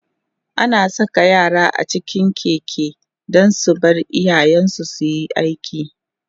ana Saka yara a cikin Keke Dan su Bar iyayen su suyi aiki